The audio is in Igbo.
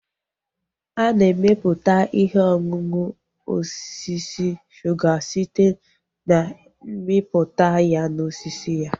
Ana emeputa ihe ọṅụṅụ osisi suga site na mmiputa ya na osisi ya